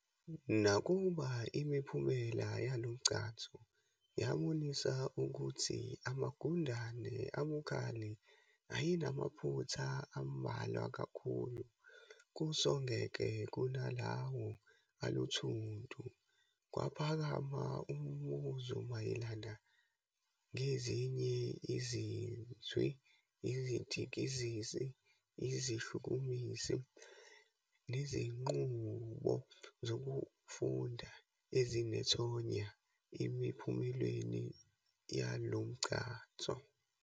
Nakuba imiphumela yalomgcanso yabonisa ukuthi amagundane "abukhali" ayenamaphutha ambalwa kakhulu kusogekle kunalawo "aluthuntu", kwaphakama umbuzo mayelana ngezinye izinzwi, izidikizisi, izishukumisi, neziñqubo zokufunda ezinethonya emiphumelweni yalomgcanso.